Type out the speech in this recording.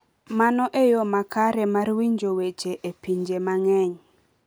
Mano e yo makare mar winjo weche e pinje mang’eny.